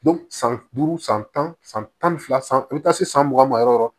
san duuru san tan san tan ni fila san i be taa se san mugan ma yɔrɔ yɔrɔ